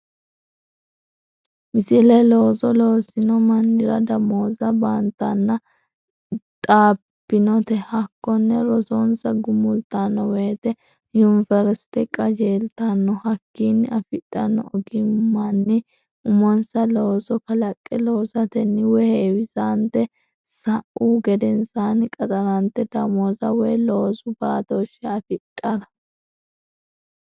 Misile Looso loosino mannira damooza baantanna xabbinote hakkonne rosonsa gumultanno wote yuniversite qajeeltanno hakkiinni afidhanno ogimmanni uminsa looso kalaqqe loosatenni woy heewisante sa uhu gedensaanni qaxarante damooza woy loosu baatooshshe afidhara.